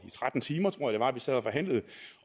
i tretten timer vi sad og forhandlede